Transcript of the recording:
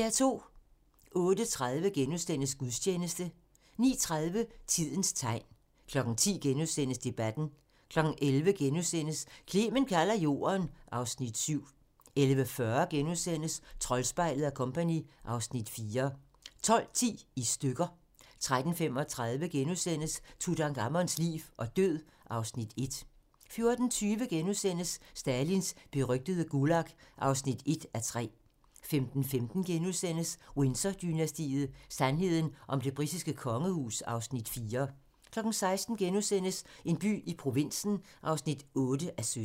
08:30: Gudstjeneste * 09:30: Tidens tegn 10:00: Debatten * 11:00: Clement kalder jorden (Afs. 7)* 11:40: Troldspejlet & Co. (Afs. 4)* 12:10: I stykker 13:35: Tutankhamons liv og død (Afs. 1)* 14:20: Stalins berygtede Gulag (1:3)* 15:15: Windsor-dynastiet: Sandheden om det britiske kongehus (Afs. 4)* 16:00: En by i provinsen (6:17)*